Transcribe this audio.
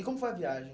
E como foi a viagem?